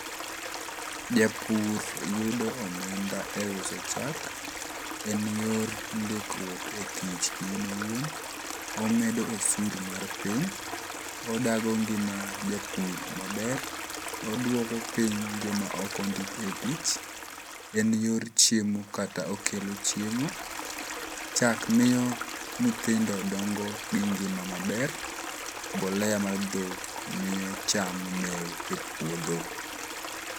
Japur yudo omenda eyor uso chak… En yor ndikruok e tich kiin iwuon. Omedo osuru mar pony. Odago ngima japur maber. Oduoko piny joma ok ondik e tich. En yor chiemo kata okelo chiemo. Chak miyo nyithindo dongo gi ngima maber. Mbolea mar dhok miyo cham mew e puodho.